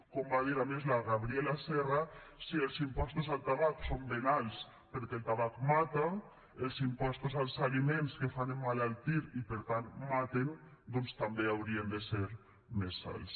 com va dir a més la gabriela serra si els impostos al tabac són ben alts perquè el tabac mata els impostos als aliments que fan emmalaltir i per tant maten també haurien de ser més alts